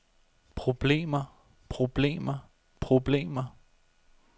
problemer problemer problemer